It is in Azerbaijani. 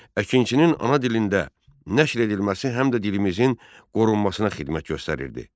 Əkinçinin ana dilində nəşr edilməsi həm də dilimizin qorunmasına xidmət göstərirdi.